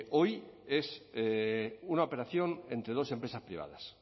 hoy es una operación entre dos empresas privadas